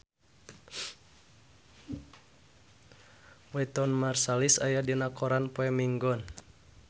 Wynton Marsalis aya dina koran poe Minggon